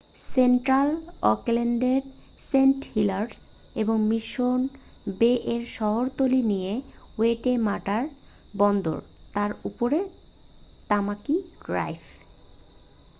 central অকল্যান্ডের St Heliers এবং Mission বে-এর শহরতলি নিয়ে ওয়েটেমাটা বন্দর তার উপরেই তামাকি ড্রাইভ